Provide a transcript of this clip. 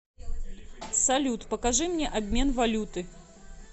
салют покажи мне обмен валюты